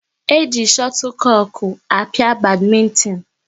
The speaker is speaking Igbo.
E ji chotlekoku a pịa badmintin